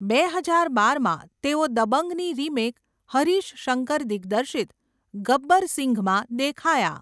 બે હજાર બારમાં, તેઓ 'દબંગ'ની રિમેક હરીશ શંકર દિગ્દર્શિત 'ગબ્બર સિંઘ'માં દેખાયા.